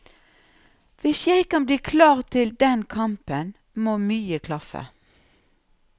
Hvis jeg skal bli klar til den kampen, må mye klaffe.